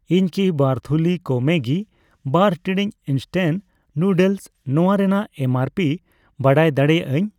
ᱤᱧ ᱠᱤ ᱵᱟᱨ ᱛᱷᱩᱞᱤ ᱠᱚ ᱢᱮᱜᱜᱤ ᱵᱟᱨ ᱴᱤᱲᱤᱡ ᱤᱱᱥᱴᱮᱱᱴ ᱱᱩᱰᱚᱞᱥ ᱱᱚᱣᱟ ᱨᱮᱱᱟᱜ ᱮᱢ ᱟᱨ ᱯᱤ ᱵᱟᱰᱟᱭ ᱫᱟᱲᱮᱭᱟᱜ ᱟᱧ?